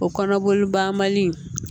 O kɔnɔboli banbali